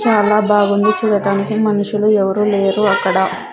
చాలా బాగుంది చూడటానికి మనుషులు ఎవరూ లేరు అక్కడ--